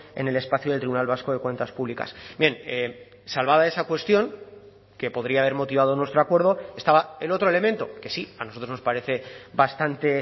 en el espacio del tribunal vasco de cuentas públicas bien salvada esa cuestión que podría haber motivado nuestro acuerdo estaba el otro elemento que sí a nosotros nos parece bastante